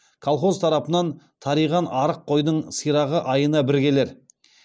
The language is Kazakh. колхоз тарапынан тариған арық қойдың сирағы айына бір келер